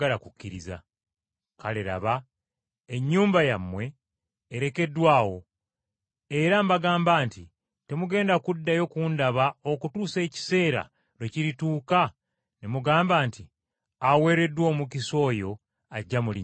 Kale laba ennyumba yammwe erekeddwa awo. Era mbagamba nti temugenda kuddayo kundaba okutuusa ekiseera lwe kirituuka ne mugamba nti, ‘Aweereddwa omukisa oyo ajja mu linnya lya Mukama.’ ”